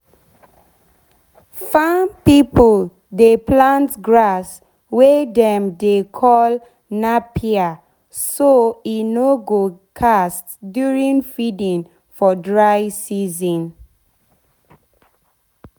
farm people dey plant grass wey dem dey call napier so e nor go cast during feeding for dry season